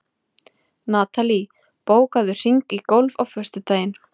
Natalí, bókaðu hring í golf á föstudaginn.